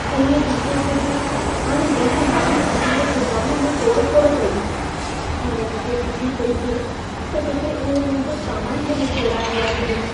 पोएं हफ़्ते कुझु अणॼाण माण्हुनि असां जे गुदाम में तोड़फोड़ कई। हाणे मूंखे फ़िफ़िड़ी पई थिए, त किथे उहे मुंहिंजो सामान बि न चोराए विया हुजनि।